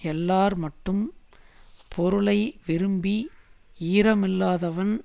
எல்லார் மட்டும் பொருளை விரும்பி யீரமில்லாதவன்